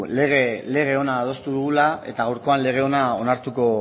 lege ona adostu dugula eta gaurkoan lege ona